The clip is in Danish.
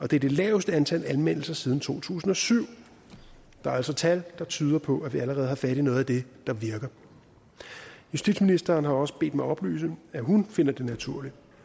det er det laveste antal anmeldelser siden to tusind og syv der er altså tal der tyder på at vi allerede har fat i noget af det der virker justitsministeren har også bedt mig oplyse at hun finder det naturligt